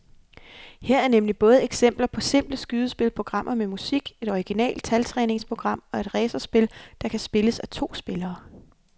Her er nemlig både eksempler på simple skydespil, programmer med musik, et originalt taltræningsprogram og et racerspil, der kan spilles af to spillere.